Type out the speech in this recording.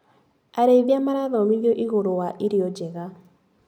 Arĩithia marathomithio igũrũ wa irio njega.